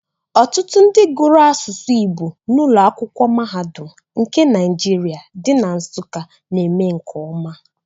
Ọtụtụ ndị gụrụ asụsụ Igbo n'ụlọ akwụkwọ mahadum nke Naijiria dị na Nsuka na-eme nke ọma.